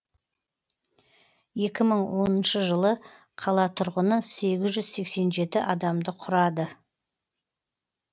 екі мың оныншы жылы қала тұрғыны сегіз жүз сексен жеті адамды құрады